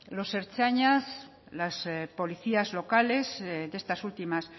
los ertzainas y las policías locales de estas últimas